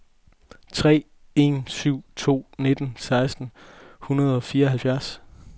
tre en syv to nitten seks hundrede og fireoghalvfjerds